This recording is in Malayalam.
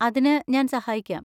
അതിന് ഞാൻ സഹായിക്കാം.